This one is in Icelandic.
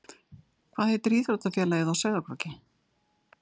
Hvað heitir íþróttafélagið á Sauðárkróki?